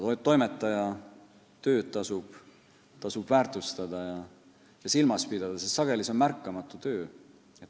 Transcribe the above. Toimetaja tööd tasub väärtustada ja silmas pidada, sest see on sageli märkamatu.